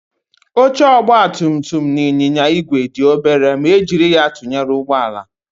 Oche ọgbatumtum na ịnyịnya igwe dị obere ma e jiri ya tụnyere ụgbọala